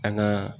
An ŋaa